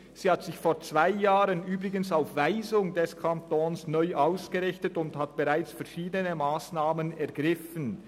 Sie hat sich vor zwei Jahren – übrigens auf Weisung des Kantons – neu ausgerichtet und hat bereits verschiedene Massnahmen ergriffen.